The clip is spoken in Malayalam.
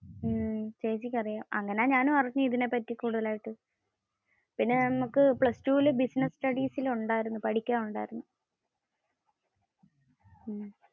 ചേച്ചിക്കു അറിയാം. അങ്ങനെ ഞാനും അറിഞ്ഞേ ഇതിനെ പറ്റി കൂടുതൽ ആയിട്ടു. പിന്നെ നമ്മുക്ക് പ്ലസ് ടുവിൽ business studies പഠിക്കാൻ ഉണ്ടായിരുന്ന.